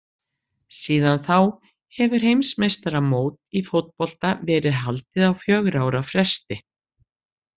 Síðan þá hefur heimsmeistaramót í fótbolta verið haldið á fjögurra ára fresti.